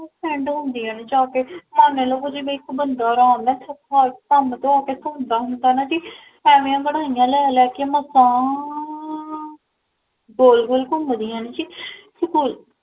SEND ਹੁੰਦਿਆ ਨੇ ਜਾ ਕੇ ਮਨ ਲਵੋ ਓਦੇ ਵਿੱਚ ਇਕ ਬੰਦਾ ਭਨ ਟ੍ਰਾ ਕੇ ਥਕ੍ਕਾ ਹਾਰ ਹੁੰਦਾ ਹੈ ਜੀ, ਐਵੇ ਅੰਗੜਾਈਆ ਲੈ ਲੈ ਕੇ ਮਸਾਂ ਗੋਲ ਗੋਲ ਕੁਮਦੀਆਂ ਨੇ ਜੀ